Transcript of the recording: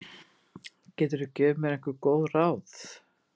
Geturðu gefið mér einhver góð ráð?